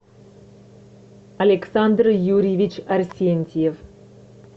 александр юрьевич арсентьев